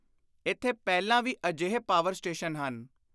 ਇਥੇ ਪਹਿਲਾਂ ਵੀ ਅਜਿਹੇ ਪਾਵਰ ਸਟੇਸ਼ਨ ਹਨ।